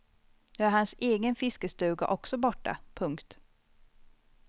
Nu är hans egen fiskestuga också borta. punkt